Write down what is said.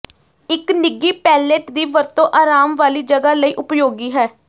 ਇੱਕ ਨਿੱਘੀ ਪੈਲੇਟ ਦੀ ਵਰਤੋਂ ਅਰਾਮ ਵਾਲੀ ਜਗ੍ਹਾ ਲਈ ਉਪਯੋਗੀ ਹੈ